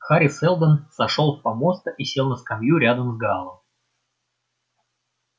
хари сэлдон сошёл с помоста и сел на скамью рядом с гаалом